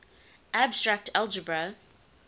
abstract algebra